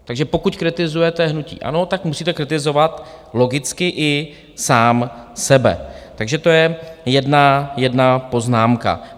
Takže pokud kritizujete hnutí ANO, tak musíte kritizovat logicky i sám sebe, takže to je jedna poznámka.